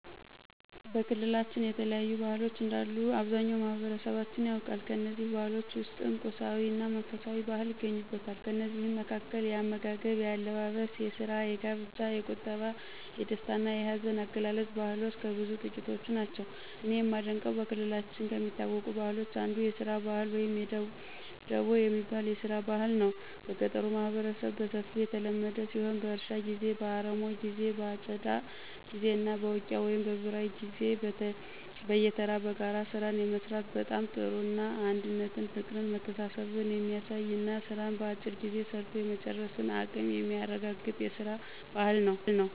በክልላችን የተለያዩ ባህሎች እንዳሉ አብዛኛው ማህበረሠባችን ያውቃል። ከእነዚህ ባህሎች ውስጥም ቁሳዊ እና መንፈሳዊ ባህል ይገኙበታል። ከእነዚህ መካከል፦ የአመጋገብ፣ የአለባበስ፣ የስራ፣ የጋብቻ፣ የቁጠባ፣ የደስታ እና የሀዘን አገላለፅ ባህልሎች ከብዙ ጥቂቶቹ ናቸው። እኔ የማደንቀው በክልላችን ከሚታወቁ ባህሎች አንዱ የስራ ባህል ወይም ደቦ የሚባል የስራ ባህል ነው። በገጠሩ ማህበረሠብ በሰፊው የተለመደ ሲሆን በእርሻ ጊዜ፣ በአረሞ ጊዜ በአጨዳ ጊዜ እና በውቂያ ወይም በበራይ ጊዜ በየተራ በጋራ ስራን የመስራት በጣም ጥሩ እና አንድነትን ፍቅርን መተሳሠብን የሚያሳይ እና ስራን በአጭር ጊዜ ሰርቶ የመጨረስን አቀም የሚያረጋገጥ የስራን ባህል ነው።